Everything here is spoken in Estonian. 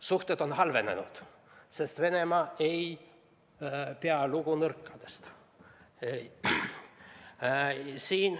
Suhted on halvenenud, sest Venemaa ei pea lugu nõrkadest.